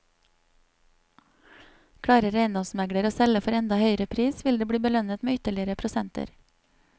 Klarer eiendomsmegler å selge for enda høyere pris, vil det bli belønnet med ytterligere prosenter.